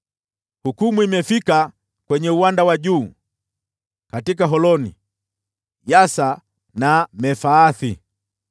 Hukumu imefika kwenye uwanda wa juu: katika Holoni, Yahasa na Mefaathi,